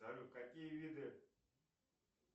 салют какие виды